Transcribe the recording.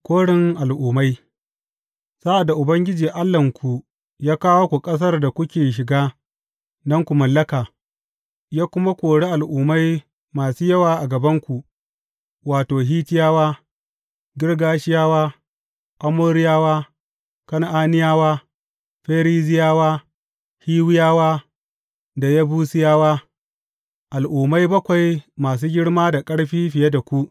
Korin al’ummai Sa’ad da Ubangiji Allahnku ya kawo ku ƙasar da kuke shiga don ku mallaka, ya kuma kori al’ummai masu yawa a gabanku; wato, Hittiyawa, Girgashiyawa, Amoriyawa, Kan’aniyawa, Ferizziyawa, Hiwiyawa da Yebusiyawa, al’ummai bakwai masu girma da ƙarfi fiye da ku.